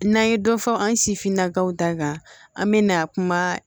N'an ye dɔ fɔ an si finna kaw ta kan an bɛ na kuma